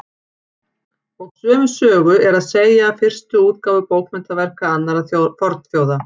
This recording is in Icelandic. Og sömu sögu er að segja af fyrstu útgáfu bókmenntaverka annarra fornþjóða.